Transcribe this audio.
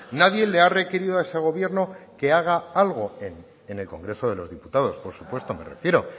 nadie le ha requerido a ese gobierno que haga algo en el congreso de los diputados